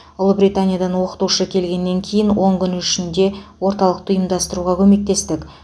ұлыбританиядан оқытушы келгеннен кейін он күн ішінде орталықты ұйымдастыруға көмектестік